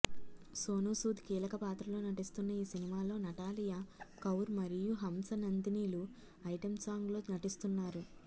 సోనూసూద్ కీలక పాత్రలో నటిస్తున్న ఈ సినిమాలో నటాలియా కౌర్ మరియు హంస నందినిలు ఐటెం సాంగ్ లో నటిస్తున్నారు